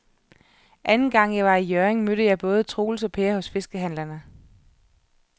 Anden gang jeg var i Hjørring, mødte jeg både Troels og Per hos fiskehandlerne.